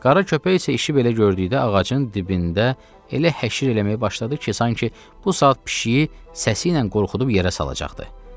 Qara köpək isə işi belə gördükdə ağacın dibində elə həşir eləməyə başladı ki, sanki bu saat pişiyi səsi ilə qorxudub yerə salacaqdı.